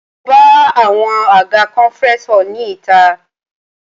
Mo bá àwọn àga conference hall ní ìta.